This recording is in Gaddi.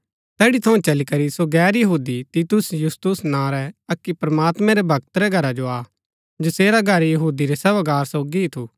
तैड़ी थऊँ चली करी सो गैर यहूदी तीतुस यूस्तुस नां रै अक्की प्रमात्मैं रै भक्त रै घरा जो आ जसेरा घर यहूदी रै सभागार सोगी ही थु